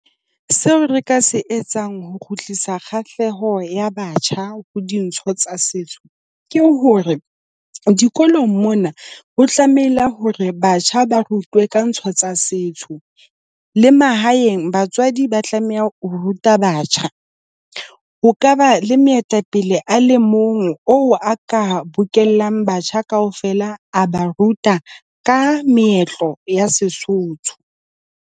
Seo re ka se etsang ho kgutlisa kgahleho ya batjha ho dintho tsa setso ke hore dikolong mona ho tlamehile hore batjha ba rutwe ka ntho tsa setso. Le mahaeng batswadi ba tlameha ho ruta batjha. Ho ka ba le moetapele a le mong oo a ka bokellang batjha kaofela, a ba ruta ka meetlo ya Sesotho.